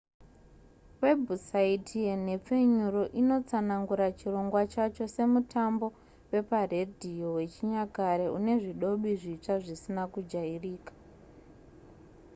webhusaiti yenhepfenyuro inotsanangura chirongwa chacho semutambo weparedhiyo wechinyakare une zvidobi zvitsva zvisina kujairika